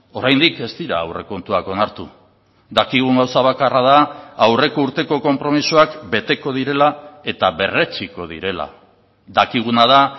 oraindik ez dira aurrekontuak onartu dakigun gauza bakarra da aurreko urteko konpromisoak beteko direla eta berretsiko direla dakiguna da